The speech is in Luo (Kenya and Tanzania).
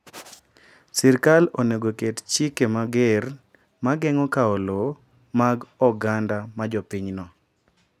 Sirkal onego oket chike mager ma geng’o kawo lowo mag oganda ma jopinyno.